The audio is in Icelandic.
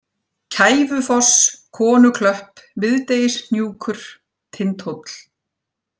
Kæfufoss, Konuklöpp, Miðdegishnúkur, Tindhóll